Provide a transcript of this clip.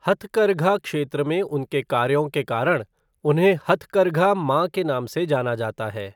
हथकरघा क्षेत्र में उनके कार्यों के कारण उन्हें हथकरघा मां के नाम से जाना जाता है।